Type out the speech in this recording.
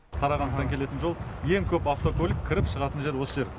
қарағандыдан келетін жол ең көп автокөлік кіріп шығатын жер осы жер